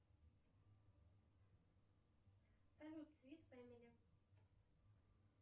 салют свит фэмили